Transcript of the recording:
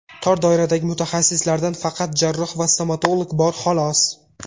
Tor doiradagi mutaxassislardan faqat jarroh va stomatolog bor, xolos.